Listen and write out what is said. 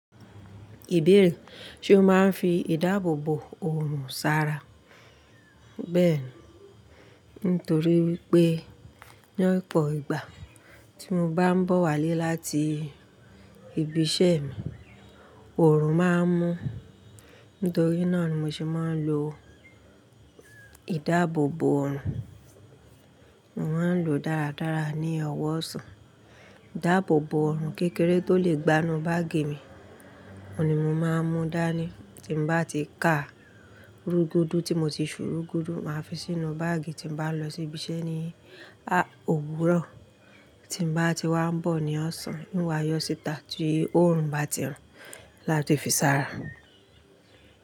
Ìbéèrè, ṣe o máa ń fi ìdáàbòbò ọrùn sara? Bẹ́ẹ̀ni, nítorí wípé ní ọ̀pọ̀ ìgbà tí mo bá ń bọ̀ wálé láti ibi iṣẹ́ mi, ọrùn máa ń mú. Nítorí náà ni mo ṣe máa ń lo ìdáàbòbò orùn. Mo máa ń lo dáradára ní ọwọ́ ọ̀sán, ìdáàbòbò orùn kékeré tó lè gbanú báàgì mi, òun ni mo máa ń mú dání tí n bá ti ka ru gudu tí mo ti ṣùru gudu, màá fi sínú báàgì tí bá ń lọ síbi iṣẹ́ ní owùrọ. Ti bá ti wá ń bọ̀ ní ọ̀sán, nwa a yọ́ síta tí orùn bá ti hán láti fi sára.